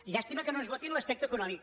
llàstima que no ens votin l’aspecte econòmic